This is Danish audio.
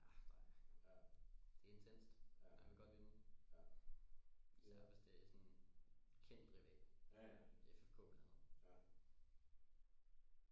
Ja der er det er intenst man vil godt ynde især hvis det er sådan kendt rival FK blandt andet